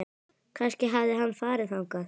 Kannski hafði hann farið þangað.